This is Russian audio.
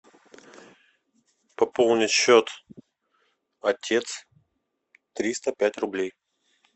пополнить счет отец триста пять рублей